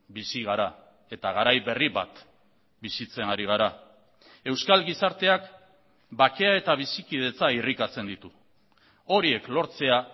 bizi gara eta garai berri bat bizitzen ari gara euskal gizarteak bakea eta bizikidetza irrikatzen ditu horiek lortzea